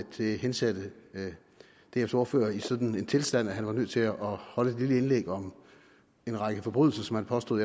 det hensatte dfs ordfører i en sådan tilstand at han var nødt til at holde et lille indlæg om en række forbrydelser som han påstod